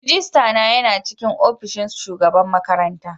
Rajistana yana cikin opishin shugaban makaranta.